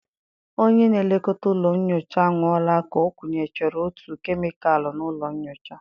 Onye na-elekọta ụlọ nyocha anwụọla ka ọ kunyechara otu kemịkalụ n'ụlọ nyocha.